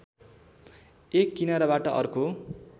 एक किनाराबाट अर्को